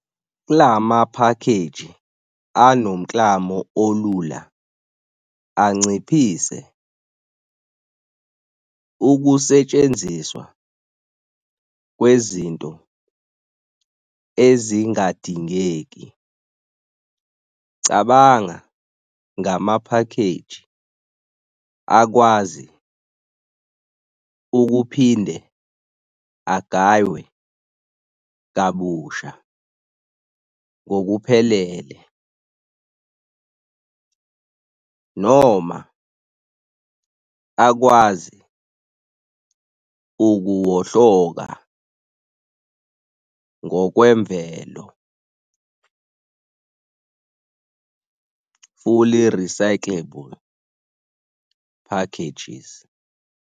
Kulama phakheji anomklamo olula anciphise ukusetshenziswa kwezinto ezingadingeki. Cabanga ngama phakheji akwazi ukuphinde agaywe kabusha ngokuphelele noma akwazi ukuwohloka ngokwemvelo fully recyclable packages.